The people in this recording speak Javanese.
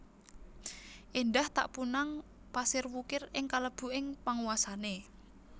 Éndah ta punang pasir wukir sing kalebu ing panguwasané